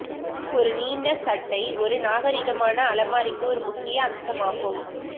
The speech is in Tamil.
ஒரு நீண்ட சட்டை ஒரு நாகரீகமான அலமாரிக்கு ஒரு முக்கிய அம்சமாகும்